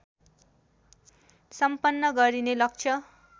सम्पन्न गरिने लक्ष्य